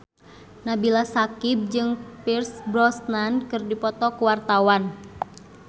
Nabila Syakieb jeung Pierce Brosnan keur dipoto ku wartawan